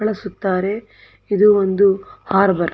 ಬಳಸುತ್ತಾರೆ ಇದು ಒಂದು ಹಾರ್ಬರ್ .